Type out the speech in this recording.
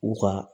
U ka